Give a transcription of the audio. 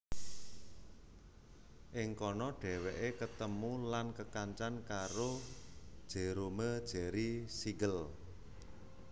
Ing kana dhèwèké ketemu lan kekancan karo Jerome Jerry Siegel